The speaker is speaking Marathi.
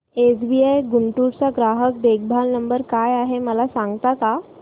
एसबीआय गुंटूर चा ग्राहक देखभाल नंबर काय आहे मला सांगता का